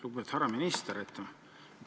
Lugupeetud härra minister!